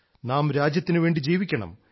നാം രാജ്യത്തിനു വേണ്ടി ജീവിക്കണം